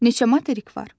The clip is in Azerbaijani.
Neçə materik var?